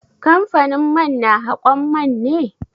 Kamfanin man na haƙon man ne?